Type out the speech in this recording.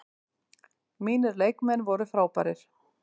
Mínir leikmenn voru frábærir.